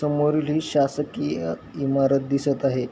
समोरील हि शासकिय इमारत दिसत आहे.